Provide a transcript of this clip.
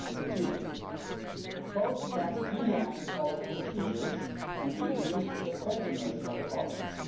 2013. Both have streamlined OLAF procedures and increased the effectiveness of the office.